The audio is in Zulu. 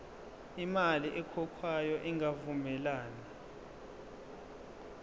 imali ekhokhwayo ingavumelani